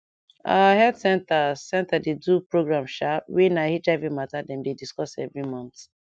our health center center dey do program sha wey na hiv mata dem dey discuss every month